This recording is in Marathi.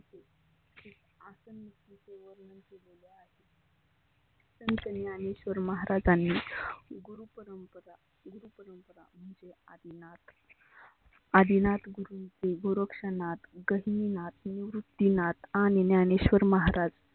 संत ज्ञानेश्वर महाराजांनी गुरु परंपरा गुरु परंपरा म्हणजे आदिनाथ. आदिनाथ, गोरक्षनाथ, गहिनीनाथ, निववृत्तीनाथ आणि ज्ञानेश्वर महाराज